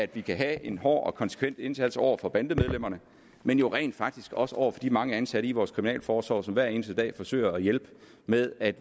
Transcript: det gælder en hård og konsekvent indsats over for bandemedlemmerne men jo rent faktisk også over for de mange ansatte i vores kriminalforsorg som hver eneste dag forsøger at hjælpe med at